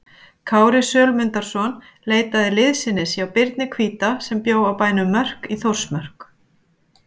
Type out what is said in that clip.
Kári Sölmundarson leitaði liðsinnis hjá Birni hvíta sem bjó á bænum Mörk í Þórsmörk.